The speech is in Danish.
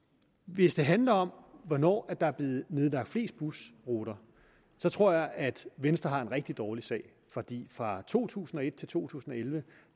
hvis det handler om hvornår der er blevet nedlagt flest busruter så tror jeg at venstre har en rigtig dårlig sag for fra to tusind og et til to tusind og elleve